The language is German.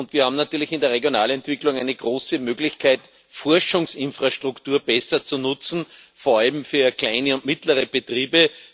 Wir haben natürlich in der Regionalentwicklung eine große Möglichkeit, Forschungsinfrastruktur besser zu nutzen, vor allem für kleine und mittlere Betriebe.